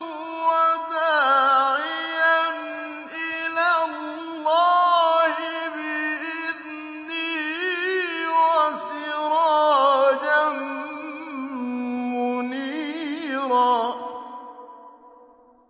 وَدَاعِيًا إِلَى اللَّهِ بِإِذْنِهِ وَسِرَاجًا مُّنِيرًا